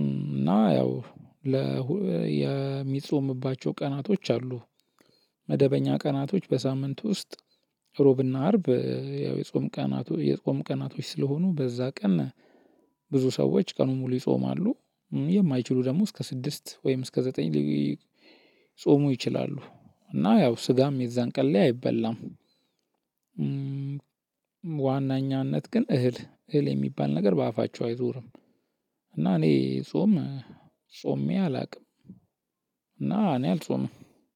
እና ያው የሚጾምባቸው ቀናቶች አሉ። መደበኛ ቀናቶች በሳምንት ውስጥ ሮብና አርብ ያው የጾም ቀናት የጾም ቀናቶች ስለሆኑ በዛ ቀን ብዙ ሰዎች ቀኑን ሙሉ ይጾማሉ። የማይችሉ ደግሞ እስከ ስድስት ወይም እስከ ዘጠኝ ሊጾሙ ይችላሉ። እና ያው ስጋም የዛን ቀን ላይ አይበላም። በዋናኛነት ግን እህል እህል የሚባል ነገር በአፋቸው አይዞርም። እና እኔ ጾም ጾሜ አላውቅም እና እኔ አልጾምም